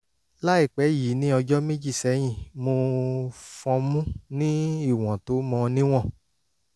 láìpẹ́ yìí ní ọjọ́ méjì sẹ́yìn mo fọnmú ní ìwọ̀n tó mọ níwọ̀n